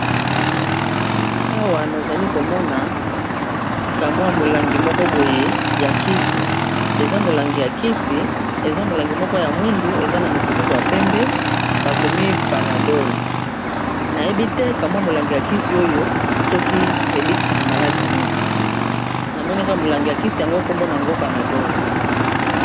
Awa nazali komona ka mwa molangi moko boye ya kisi eza molangi ya kisi eza molangi moko ya mwindu eza na mofiniku ya pembe bakomi panadol nayebi te ka mwa molangi ya kisi oyo soki ebikisaka maladi nini namoni kaka molangi ya kisi yango kombo nango panadol.